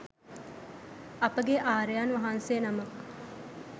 අපගේ ආර්යයන් වහන්සේ නමක්